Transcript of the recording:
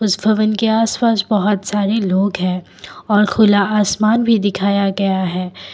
उस भवन के आसपास बहुत सारे लोग है और खुला आसमान भी दिखाया गया है।